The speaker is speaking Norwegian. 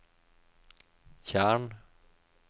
tjern